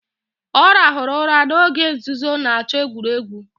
Ọ rahụru ụra n'oge nzuzo na-achọ egwuregwu